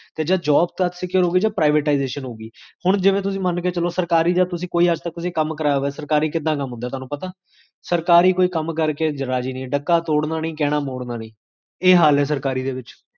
ਸ੍ਜਗ੍ਦ੍ਝ